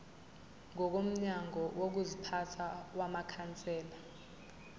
ngokomgomo wokuziphatha wamakhansela